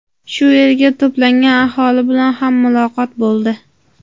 Shu yerga to‘plangan aholi bilan ham muloqot bo‘ldi.